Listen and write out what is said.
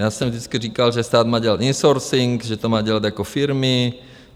Já jsem vždycky říkal, že stát má dělat insourcing, že to má dělat jako firmy.